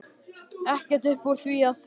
Ekkert upp úr því að hafa?